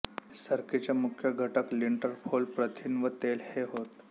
सरकीचे मुख्य घटक लिंटर फोल प्रथिन व तेल हे होत